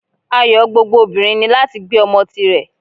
Ayo gbógbó obinrín ni latí gbé omò tí rè